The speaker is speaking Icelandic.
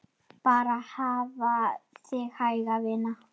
Bara hafa þig hæga, vina.